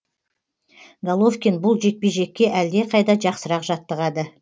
головкин бұл жекпе жекке әлдеқайда жақсырақ жаттығады